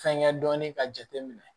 Fɛnkɛ dɔɔnin ka jateminɛ